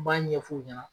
N b'a ɲɛf'u ɲɛna